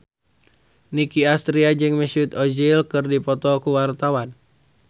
Nicky Astria jeung Mesut Ozil keur dipoto ku wartawan